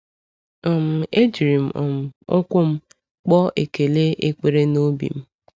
um E jiri m um ụkwụ m kpọọ ekpere ekele n’obi m.